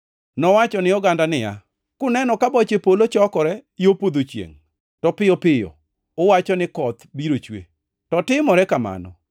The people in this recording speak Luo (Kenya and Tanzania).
Nowacho ni oganda niya, “Kuneno ka boche polo chokore yo podho chiengʼ to piyo piyo uwacho ni, ‘Koth biro chue,’ to timore kamano!